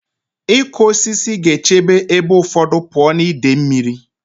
Ịkụ osisi ga-echebe ebe ụfọdụ pụọ na ide mmiri.